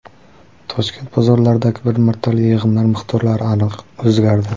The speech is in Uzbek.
Toshkent bozorlaridagi bir martalik yig‘imlar miqdorlari o‘zgardi.